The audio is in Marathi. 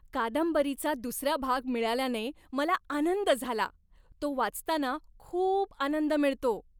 कादंबरीचा दुसरा भाग मिळाल्याने मला आनंद झाला. तो वाचताना खूप आनंद मिळतो.